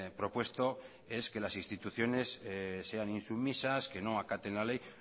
propuesto es que las instituciones sean insumisas que no acaten la ley